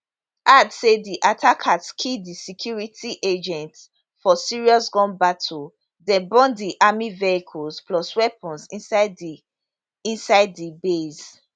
add say di attackers kill di security agents for serious gun battle den burn di army vehicles plus weapons inside di inside di base